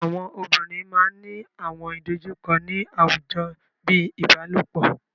Àwọn obìnrin máa ńi àwọn ìdojúkọ ni àwùjọ bíi ìbálòpọ̀.